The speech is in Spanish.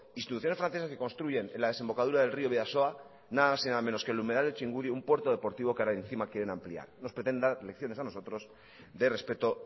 instituciones francesas que construyen en la desembocadura del río bidasoa nada más y nada menos que en el humedal del txingudi un puerto deportivo que ahora encima quieren ampliar no pretenda dar lecciones a nosotros de respeto